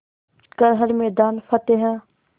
कर हर मैदान फ़तेह